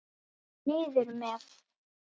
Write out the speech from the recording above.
Niður með.